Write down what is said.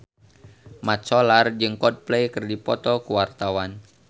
Mat Solar jeung Coldplay keur dipoto ku wartawan